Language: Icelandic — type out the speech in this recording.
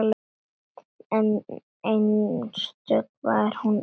Einstök var hún amma Sjöfn.